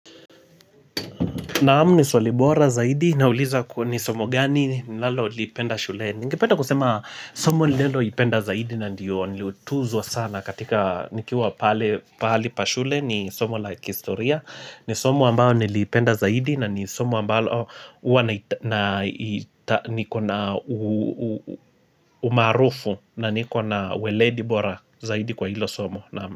Naam ni swali bora zaidi nauliza kwa ni somo gani nalo lipenda shuleni. niNgependa kusema somo nalo lipenda zaidi na ndiyo nilutuzwa sana katika nikiwa pale pa shule ni somo la kihistoria. Ni somo ambao niliipenda zaidi na ni somo ambalo huwa nikona umarufu na niko na weledibora zaidi kwa hilo somo.